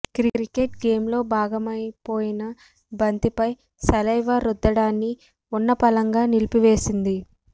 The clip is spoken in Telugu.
క్రికెట్ గేమ్లో భాగమై పోయిన బంతిపై సలైవా రుద్దడాన్ని ఉన్నపళంగా నిలిపివేసింది